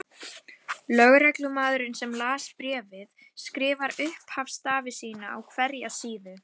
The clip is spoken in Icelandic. Lögreglumaðurinn sem las bréfið skrifar upphafsstafi sína á hverja síðu.